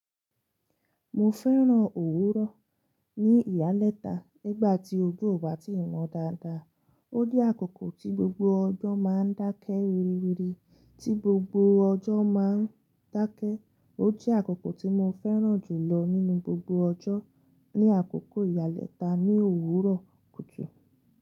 Mo fẹ́ràn òwúrọ̀ ní ìyálẹ́ta nígbà tí ojú ò bá ti wọn dáadáa. Ó jẹ́ àkókò tí gbogbo ọjọ́ máa ń dákẹ́ wiri wiri, tí gbogbo ọjọ́ máa ń dákẹ́. Ó jẹ́ àkókò tí mo fẹ́ràn jùlọ nínú gbogbo ọjọ́, ní àkókò ìyálẹ́ta ní òwúrọ̀ kùjù.